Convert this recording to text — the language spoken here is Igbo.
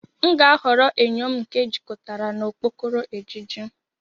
M ga-ahọrọ enyo m nke ejikọtara na okpokoro ejiji.